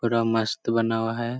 बड़ा मस्त बना हुआ है ।